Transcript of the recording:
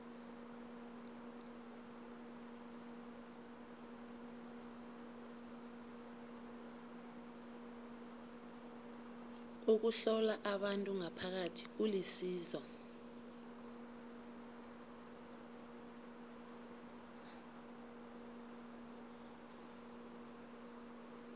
ukuhlola abantu ngaphakathi kulisizo